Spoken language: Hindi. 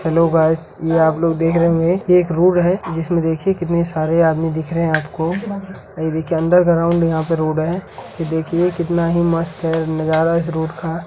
हेलो गायस यह आप लोग देख रहे होंगे यह एक रोड है जिसमें कितने सारे आदमी दिख रहे हैं आपको यह देखिए अंडरग्राउंड यहाँ पर रोड है कितना मस्त है नजारा इस रोड का --